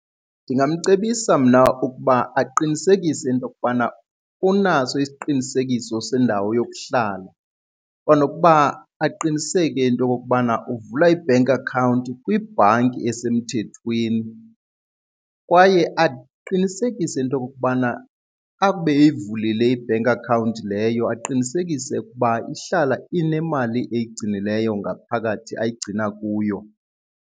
Ndingamcebisa mna ukuba aqinisekise into okubana unaso isiqinisekiso sendawo yokuhlala kwanokuba aqiniseke into okokubana uvula i-bank account kwibhanki esemthethweni. Kwaye aqinisekise into yokokubana akube eyivulile i-bank account leyo aqinisekise ukuba ihlala inemali eyigcinileyo ngaphakathi ayigcina kuyo.